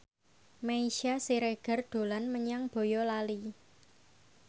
Meisya Siregar dolan menyang Boyolali